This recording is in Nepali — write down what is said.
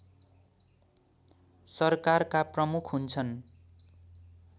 सरकारका प्रमुख हुन्छन्